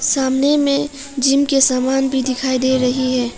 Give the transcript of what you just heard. सामने में जिम के समान भी दिखाई दे रही है।